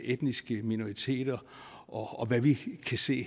etniske minoriteter og hvad vi kan se